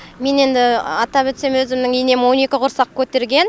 мен енді атап өтсем өзімнің енем он екі құрсақ көтерген